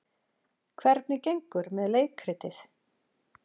Hvernig gengur með leikritið?